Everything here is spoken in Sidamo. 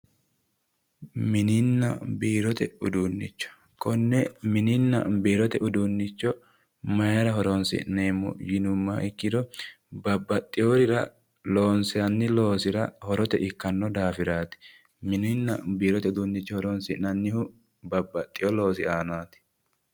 mininna biirote uduunnicho konne mininna biirote uduunnicho mayiira horonsi'neemmo yinummoha ikkiro babbaxeworira loonsanni loosira horote ikkanno daafiraati mininna biirote uduunnicho horonsi'nannihu babbaxino loosiraati.